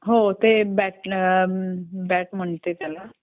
हो ते बॅट म्हणते त्याला